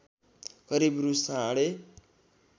करिब रु साढे